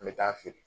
N bɛ taa feere